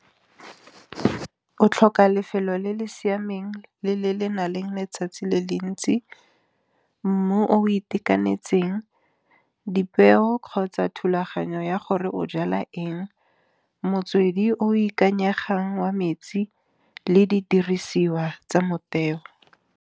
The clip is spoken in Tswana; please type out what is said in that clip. O tlhoka lefelo le le siameng le le le na le letsatsi le le ntsi. Mmu o itekanetseng, dipeo kgotsa thulaganyo ya gore o jala eng. Motswedi o ikanyegang wa metsi le di dirisiwa tsa motheo.